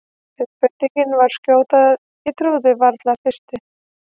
Umbreytingin svo skjót að ég trúði í fyrstu varla á hana.